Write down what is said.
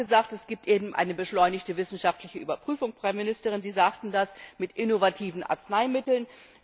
Der Rat hat gesagt, es gibt eine beschleunigte wissenschaftliche Überprüfung Frau Ministerin, Sie sagten das bei innovativen Arzneimitteln.